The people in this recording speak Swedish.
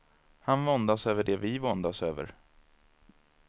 Han våndas över det vi våndas över.